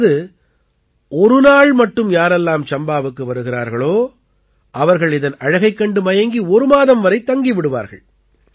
அதாவது ஒரு நாள் மட்டும் யாரெல்லாம் சம்பாவுக்கு வருகிறார்களோ அவர்கள் இதன் அழகைக் கண்டு மயங்கி ஒரு மாதம் வரை தங்கி விடுவார்கள்